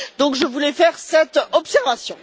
Donc, je voulais faire cette observation.